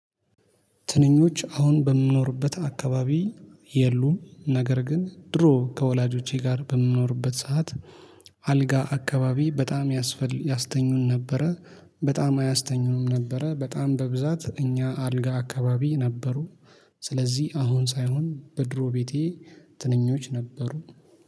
ትንኞች አሁን በምኖርበት አካባቢ የሉም። ነገር ግን ድሮ ከወላጆቼ ጋር በምኖርበት ሰዓት አልጋ አካባቢ በጣም ያስፈል ያስተኙን ነበረ። በጣም አያስተኙንም ነበረ በጣም በብዛት እኛ አልጋ አካባቢ ነበሩ። ስለዚህ አሁን ሳይሆን በድሮ ቤቴ ትንኞች ነበሩ